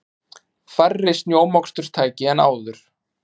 Færri snjómoksturstæki en áður